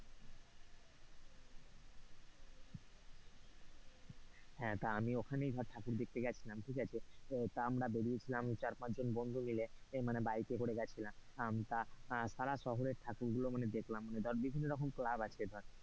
হ্যাঁ তা আমি ওখানেই ধর ঠাকুর দেখতে গিয়েছিলাম ঠিক আছে তা আমরা বেরিয়েছিলাম চার পাঁচজন জন বন্ধু মিলে এ মানে বাইকে করে গিয়েছিলাম আম তাছাড়া শহরে ঠাকুর গুলো দেখলাম বিভিন্ন রকম ক্লাব আছে ধর।